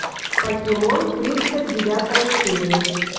покемон тридцать девятая серия